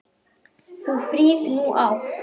Þú frið nú átt.